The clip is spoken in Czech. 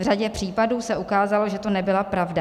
V řadě případů se ukázalo, že to nebyla pravda.